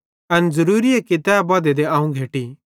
एन ज़रूरीए कि तै बधै ते अवं घैटी